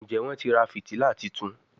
Njé Wón tí rà fìtílà títún?